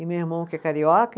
E meu irmão que é carioca.